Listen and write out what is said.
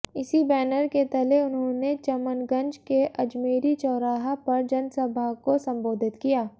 इसी बैनर के तले उन्होंने चमनगंज के अजमेरी चौराहा पर जनसभा को संबोधित किया